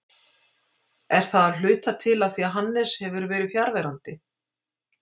Er það af hluta til af því að Hannes hefur verið fjarverandi?